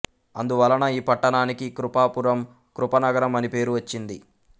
అందు వలన ఈ పట్టణానికి కృపాపురం కృపనగరం అని పేరు వచ్చింది